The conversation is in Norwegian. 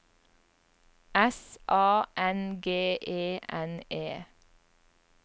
S A N G E N E